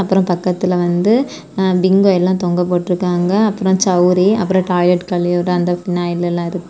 அப்ரோ பக்கத்துல வந்து எ பிங்கோ எல்லா தொங்க போட்ருக்காங்க அப்ரோ சவுரி அப்ரோ டாய்லெட் கலியுற அந்த பினாயில் எல்லா இருக்கு.